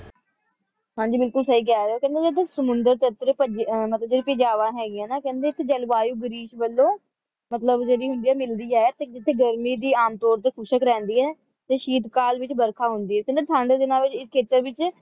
ਹਾਂ ਜੀ ਬਿਲਕੁਲ ਸਹੀ ਕਹਿ ਰਹੇ ਹੋ ਕਹਿੰਦੀ ਜਿਹੜੀ ਸਮੁੰਦਰ ਦੀ ਇਧਰ ਮਤਲਬ ਜਿਹੜੀ ਭੁਜਾਵਾਂ ਹੈਗੀਆਂ ਨਾ ਕਹਿੰਦੀ ਇੱਥੇ ਜਲਵਾਯੂ ਗ੍ਰੀਸ ਵੱਲੋਂ ਮਤਲਬ ਜਿਹੜੀ ਮਿਲਦੀ ਹੈ ਤੇਉੱਥੇ ਗਰਮੀ ਵੀ ਆਮ ਤੌਰ ਤੇ ਖੁਸ਼ਕ ਰਹਿੰਦੀ ਹੈ ਤੇ ਸ਼ੀਤ ਕਾਲ ਵਿੱਚ ਵਰਖਾ ਹੁੰਦੀ ਹੈ ਤੇ ਠੰਡ ਦੇ ਨਾਲ ਇਸ ਖੇਤਰ ਦੇ ਵਿੱਚ